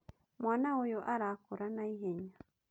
Mwana ũyũ arakũra naihenya